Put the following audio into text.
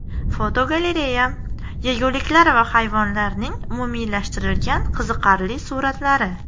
Fotogalereya: Yeguliklar va hayvonlarning umumiylashtirilgan qiziqarli suratlari.